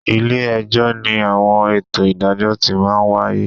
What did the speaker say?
Ilé-ẹjọ́ ni àwọn ètò ìdájọ́ ti máa ń wáyé